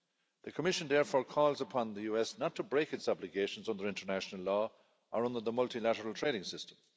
The Commission therefore calls upon the US not to break its obligations under international law or under the multilateral trading system.